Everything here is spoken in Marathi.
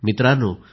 मित्रांनो